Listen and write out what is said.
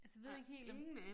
Altså ved ikke helt om